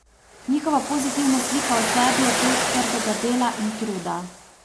Njihova pozitivna slika o sebi je plod trdega dela in truda.